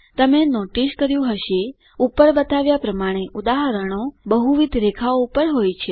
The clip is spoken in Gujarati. તમે નોટિસ કર્યું હશે ઉપર બતાવ્યા પ્રમાણે ઉદાહરણો બહુવિધ રેખાઓ પર હોય છે